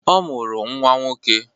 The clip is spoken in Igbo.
Ọ mụrụ nnwa nwoke.